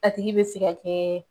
A tigi bɛ se ka kɛ